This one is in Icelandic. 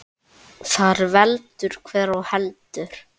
Þar veldur hver á heldur.